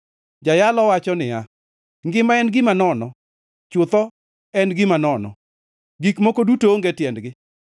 Jayalo wacho niya, “Ngima en gima nono! Chutho en gima nono! Gik moko duto onge tiendgi!”